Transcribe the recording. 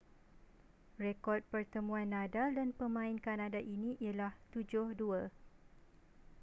rekod pertemuan nadal dan pemain kanada ini ialah 7-2